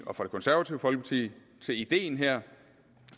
og fra det konservative folkeparti til idéen her